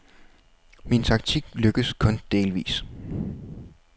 Min taktik lykkes kun delvis.